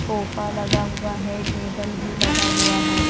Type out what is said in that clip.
Sofa लगा हुआ है टेबल भी लगा हुआ है।